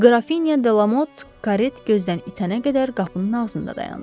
Qrafinya de Lamot karet gözdən itənə qədər qapının ağzında dayandı.